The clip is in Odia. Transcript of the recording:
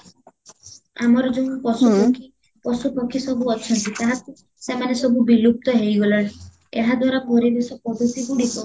ଆମର ଯେଉଁ ପଶୁ ପକ୍ଷୀ ଅସବୁ ଅଛନ୍ତି ତାହାକୁ ସେମାନେ ସବୁ ବିଲୁପ୍ତ ହେଇଗଲେଣି ଏହା ଦ୍ଵାରା ପରିବେଶ ପଦ୍ଧତି ଗୁଡିକ